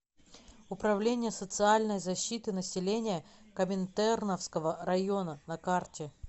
управление социальной защиты населения коминтерновского района на карте